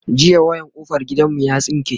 jiya wayan kofar gidan mu ya tsinke